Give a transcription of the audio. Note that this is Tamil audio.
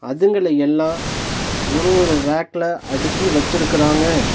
அதுங்கல எல்லா ஒரு ஒரு ரேக்ல அடுக்கி வெச்சுருக்குறாங்க.